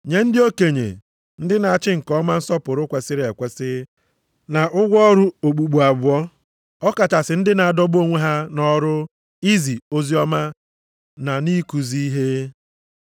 Nye ndị okenye, ndị na-achị nke ọma nsọpụrụ kwesiri ekwesi na ụgwọ ọrụ okpukpu abụọ, ọkachasị ndị na-adọgbu onwe ha nʼọrụ izi oziọma na nʼikuzi ihe.